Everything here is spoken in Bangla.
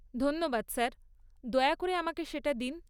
ধন্যবাদ স্যার, দয়া করে আমাকে সেটা দিন।